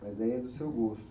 Mas daí é do seu gosto.